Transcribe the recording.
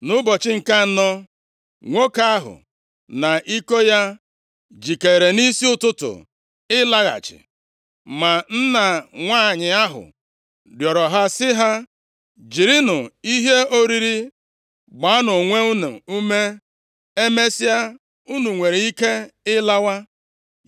Nʼụbọchị nke anọ, nwoke ahụ na iko ya jikeere nʼisi ụtụtụ ịlaghachi. Ma nna nwanyị ahụ rịọrọ ha sị ha, “Jirinụ ihe oriri gbaanụ onwe unu ume. Emesịa unu nwere ike ịlawa.”